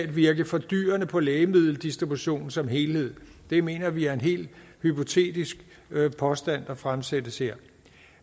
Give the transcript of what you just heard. virke fordyrende på lægemiddeldistributionen som helhed det mener vi er en helt hypotetisk påstand der fremsættes her